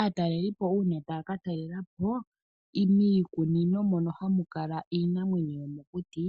Aatalelipo una taka talelapo miikunino mono hamu kala iinamwenyo yomokuti